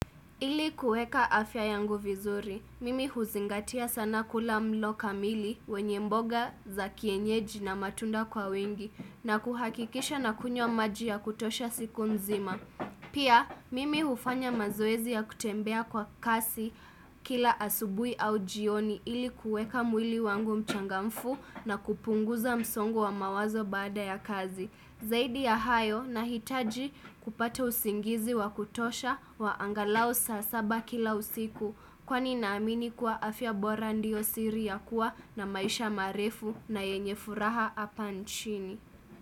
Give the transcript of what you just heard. Ili kueka afya yangu vizuri, mimi huzingatia sana kula mlo kamili wenye mboga za kienyeji na matunda kwa wingi na kuhakikisha nakunywa maji ya kutosha siku mzima. Pia, mimi hufanya mazoezi ya kutembea kwa kasi kila asubuhi au jioni ili kueka mwili wangu mchangamfu na kupunguza msongo wa mawazo baada ya kazi. Zaidi ya hayo, nahitaji kupata usingizi wa kutosha wa angalau saa saba kila usiku. Kwani naamini kuwa afya bora ndiyo siri ya kuwa na maisha marefu na yenye furaha apa nchini.